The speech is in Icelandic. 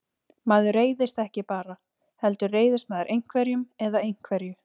Maður reiðist ekki bara, heldur reiðist maður einhverjum eða einhverju.